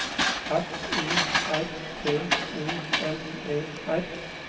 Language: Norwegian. F O R T O N E R